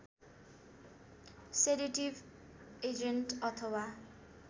sedative agent अथवा